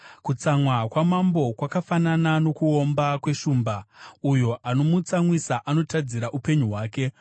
Kutsamwa kwamambo kwakafanana nokuomba kweshumba; uyo anomutsamwisa anotadzira upenyu hwake.